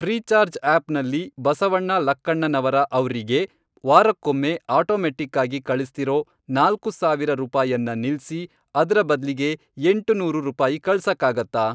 Freecharge ಆಪ್ನಲ್ಲಿ ಬಸವಣ್ಣ ಲಕ್ಕಣ್ಣನವರ ಅವ್ರಿಗೆ ವಾರಕ್ಕೊಮ್ಮೆ ಆಟೋಮೆಟ್ಟಿಕ್ಕಾಗಿ ಕಳಿಸ್ತಿರೋ ನಾಲ್ಕು ಸಾವಿರ ರೂಪಾಯನ್ನ ನಿಲ್ಸಿ, ಅದ್ರ ಬದ್ಲಿಗೆ ಎಂಟುನೂರು ರೂಪಾಯಿ ಕಳ್ಸಕ್ಕಾಗತ್ತಾ?